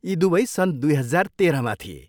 यी दुवै सन् दुई हजार तेह्रमा थिए।